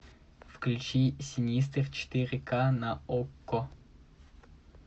включи синистер четыре ка на окко